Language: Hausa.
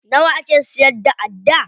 Nawa ake siyar da adda?